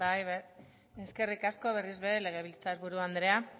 bai eskerrik asko berriz ere legebiltzar buru andrea